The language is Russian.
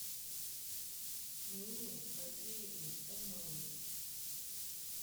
нине васильевне умновой